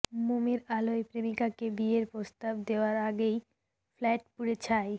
মোমের আলোয় প্রেমিকাকে বিয়ের প্রস্তাব দেওয়ার আগেই ফ্ল্যাট পুড়ে ছাই